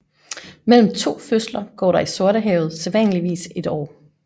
Mellem to fødsler går der i Sortehavet sædvanligvis et år